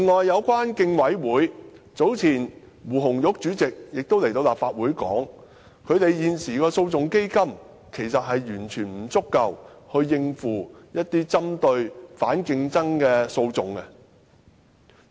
早前，競委會胡紅玉在立法會表示，現時該會的訴訟基金其實完全不足夠應付針對反競爭的訴訟。